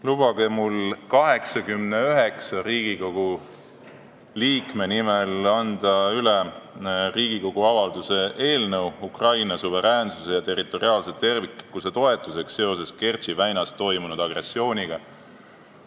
Lubage mul 89 Riigikogu liikme nimel anda üle Riigikogu avalduse "Ukraina suveräänsuse ja territoriaalse terviklikkuse toetuseks seoses Kertši väinas toimunud agressiooniga" eelnõu.